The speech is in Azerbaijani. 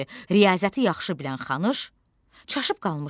Riyaziyyatı yaxşı bilən Xanısh çaşıb qalmışdı.